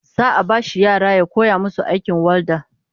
Za'a bashi yara ya koya musu aikin walda